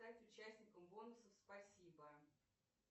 стать участником бонусов спасибо